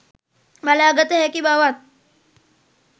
බලාගත හැකි බවත්